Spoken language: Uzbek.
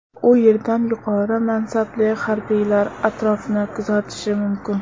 U yerdan yuqori mansabli harbiylar atrofni kuzatishi mumkin.